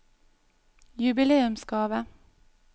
jubileumsgave